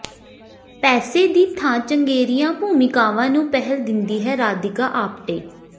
ਪੈਸੇ ਦੀ ਥਾਂ ਚੰਗੇਰੀਆਂ ਭੂਮਿਕਾਵਾਂ ਨੂੰ ਪਹਿਲ ਦਿੰਦੀ ਹੈ ਰਾਧਿਕਾ ਆਪਟੇ